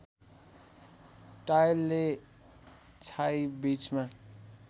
टायलले छाई बीचमा